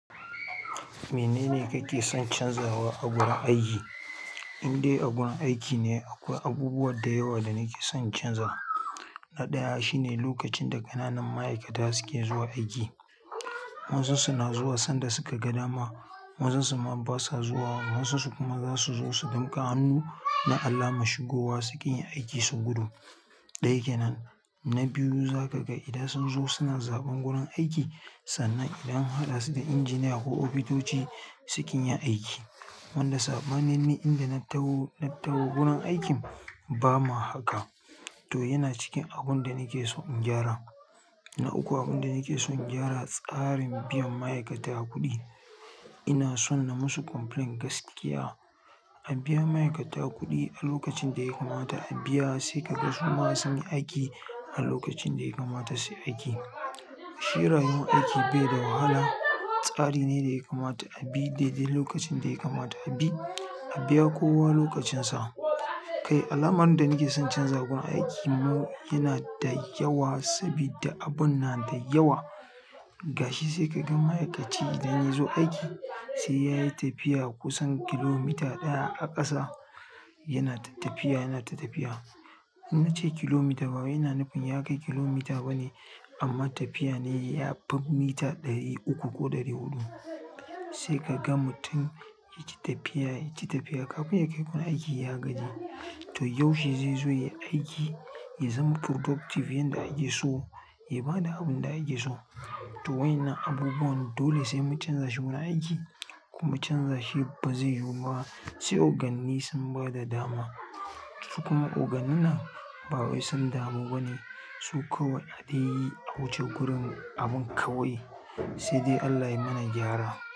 Menene kake son canzawa a gurin aiki? Indai a gun aiki ne akwai abubuwa da yawa da nake son in canza. Na ɗaya shine lokacin da ƙananan ma'aikata suke zuwa aiki. Wasu su na zuwa sanda suka ga dama, wasu su ma basa zuwa, wasu su kuma za su zo su danƙa hannu na alama shigowa suki yin aiki su gudu. Ɗaya kenan. Na biyu za ka ga idan sun zo suna zaɓan gurin aiki sannan idan an haɗa su da injiniya ko ofitoci sukin yi aiki. Sanda saɓanin ni inda na taho na taho gurin aikin b ba ma haka. Toh yana cikin abun da nake so in gyara na uku abun da nake son in gyara tsarin biyan ma'aikata kuɗi. Ina son na musu complain gaskiya a biya ma'aikata kuɗi a lokacin da ya kamata a biya sai ka ga su ma sun yi aiki a lokacin da ya kamata su yi aiki. Shi rayuwan aiki bai da wahala. Tsari ne da ya kamata a bi dai dai lokacin da ya kamata a bi. A biya kowa lokacin sa. Kai alamarin da nake son in canza gun aiki mu yana da yawa sabida abun na da yawa. Ga shi sai ka gan ma'aikaci idan ya zo aiki sai yayi tafiya kusan kilomita ɗaya a ƙasa yana ta tafiya, yana ta tafiya. In nace kilomita bawai ina nufin ya kai kilomita bane amma tafiya ne ya fi mita ɗari uku ko ɗari huɗu. Sai ka ga mutum yaci tafiya, yaci tafiya kafin ya kai wurin aiki ya gaji. To yaushe zai zo ya yi aiki, ya zama productive yanda ake so, ya bada abun da ake so. To waƴannan abubuwan dole sai mu canza shi gurin aiki kuma canza shi ba zai yiwu ba sai oganni sun bada dama. Su kuma ogannin nan ba wai sun damu bane. Su kawai adaiyi a wuce gurin abun kawai. Sai dai Allah ya mana gyara.